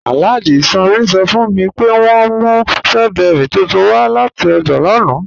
Alhaji Sanni sọ́ fun mi pé wọn mú strawberries tuntun wa lati ọ́jà lánà